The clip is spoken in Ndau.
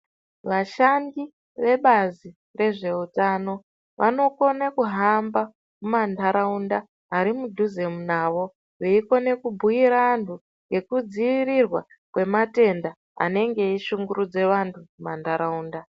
Vashandi ve bazi rezve utano vano kone kuhamba muma ndaraunda ari mudhuze navo veikone ku bhuyira antu neku dzivirirwa kwema tenda anenge ei shungurudza antu muma ndaraunda.